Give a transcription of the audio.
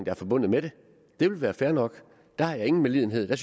er forbundet med det det vil være fair nok der har jeg ingen medlidenhed der